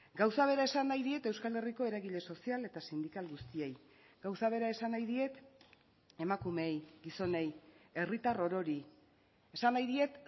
gauza bera esan nahi diet euskal herriko eragile sozial eta sindikal guztiei gauza bera esan nahi diet emakumeei gizonei herritar orori esan nahi diet